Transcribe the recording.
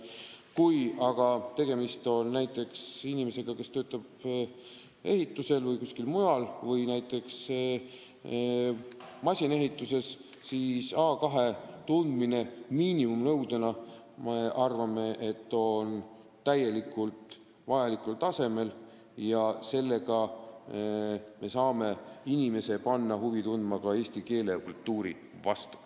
Kui aga tegemist on inimesega, kes töötab ehitusel või kuskil masinaehituses, siis me arvame, et A2-tase miinimumnõudena on täiesti piisav ja sellega me saame panna inimest huvi tundma ka eesti keele ja kultuuri vastu.